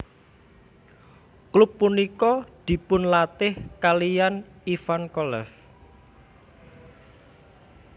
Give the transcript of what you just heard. Klub punika dipunlatih kaliyan Ivan Kolev